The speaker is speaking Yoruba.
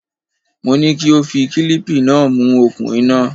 Mo ní kí ó fi kílíìpì náà mú okùn iná.